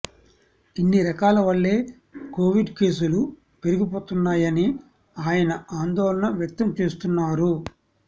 ఇన్ని రకాల వల్లే కోవిడ్ కేసులు పెరిగిపోతున్నాయని ఆయన ఆందోళన వ్యక్తం చేస్తున్నారు